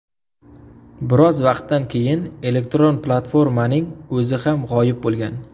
Biroz vaqtdan keyin elektron platformaning o‘zi ham g‘oyib bo‘lgan.